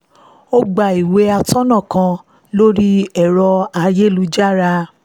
ó gba ìwé atọ́nà kan lórí ẹ̀rọ ayélujára